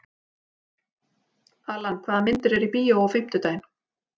Allan, hvaða myndir eru í bíó á fimmtudaginn?